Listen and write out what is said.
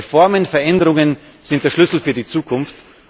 Reformen, Veränderungen sind der Schlüssel für die Zukunft.